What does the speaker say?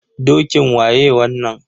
Dokin waye wannan?